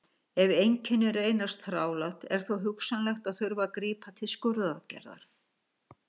ef einkennin reynast þrálát er þó hugsanlegt að þurfi að grípa til skurðaðgerðar